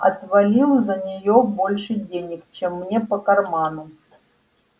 отвалил за нее больше денег чем мне по карману